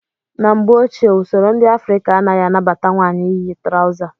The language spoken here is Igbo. Na mgbe ochie, usoro ndị Afrịka anaghị anabata nwaanyị iyi trawza.